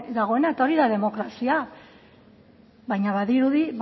dagoena eta hori da demokrazia baina badirudi